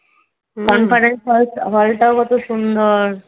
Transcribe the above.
conference hall hall টাও কত সুন্দর